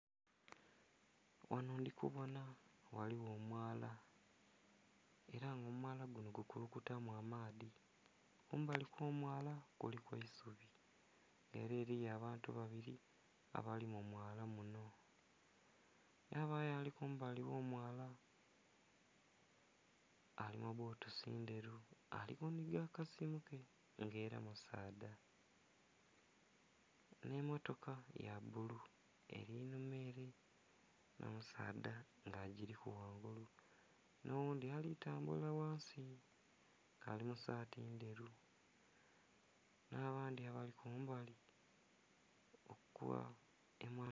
Ghano ndhi kubona ghaligho omwala, ela nga omwala guno gukulukutilamu amaadhi. Kumbali kw'omwala kuliku eisubi. Ele eliyo abantu babili abali mu mwala muno, ghabayo ali kumbali kw'omwala, ali mu bbutusi ndheru ali kunhiga kasimu ke, nga ela musaadha. Nh'emmotoka ya bulu, eli nhuma ele nga omusaadha agiliku ghangulu, n'oghundhi ali tambula ghansi ali mu saati ndheru. Nh'abandhi abali ku mbali okwa....